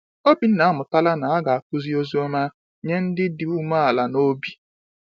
Obinna amụtala na a ga-akụzi Ozi Ọma nye ndị dị umeala n’obi.